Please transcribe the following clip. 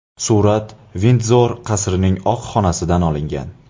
Surat Vindzor qasrining Oq xonasida olingan.